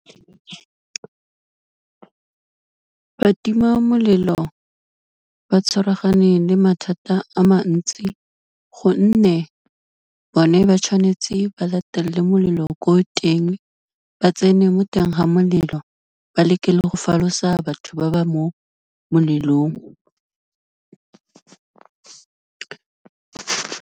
Batimamolelo ba tshwaragane le mathata a mantsi gonne, bone ba tshwanetse ba latelele molelo ko teng, ba tsene mo teng ga molelo, ba leke le go falosa batho ba ba mo molelong.